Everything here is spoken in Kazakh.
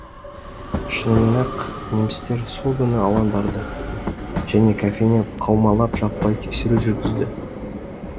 шынымен ақ немістер сол күні алаңдарды және кафені қаумалап жаппай тексеру жүргізді